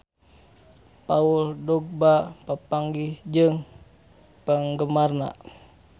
Paul Dogba papanggih jeung penggemarna